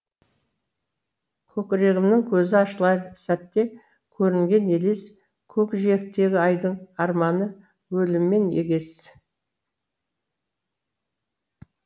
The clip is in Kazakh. көкірегімнің көзі ашылар сәтте көрінген елес көкжиектегі айдың арманы өліммен егес